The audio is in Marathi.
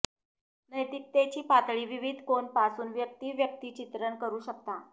नैतिकतेची पातळी विविध कोन पासून व्यक्ती व्यक्तिचित्रण करू शकता